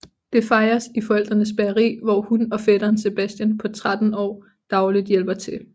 Det fejres i forældrenes bageri hvor hun og fætteren Sebastian på 13 år daglig hjælper til